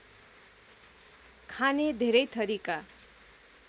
खाने धेरै थरीका